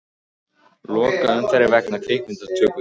Loka umferð vegna kvikmyndatöku